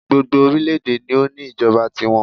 Gbogbo orílẹ̀ èdè ni o ní ìjọba ti wọn